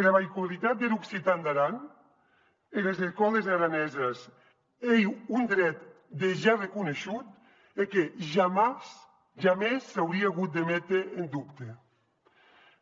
era veïcularitat der occitan d’aran enes escòles araneses ei un dret dejà reconeishut e que jamès s’aurie agut de méter en dubte